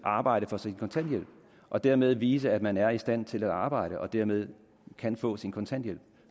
arbejde for sin kontanthjælp og dermed vise at man er i stand til at arbejde og dermed kan få sin kontanthjælp